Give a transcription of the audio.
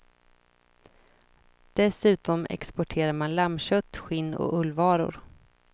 Dessutom exporterar man lammkött, skinn och ullvaror.